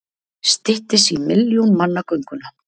Styttist í milljón manna gönguna